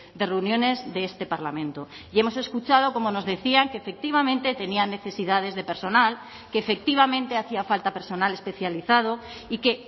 de reuniones de este parlamento y hemos escuchado como nos decían que efectivamente tenían necesidades de personal que efectivamente hacía falta personal especializado y que